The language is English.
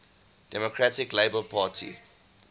democratic labour party